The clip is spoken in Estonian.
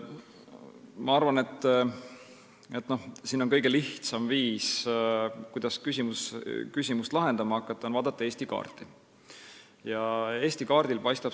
Ma arvan, et kõige lihtsam viis, kuidas seda küsimust lahendama saab hakata, on vaadata Eesti kaarti.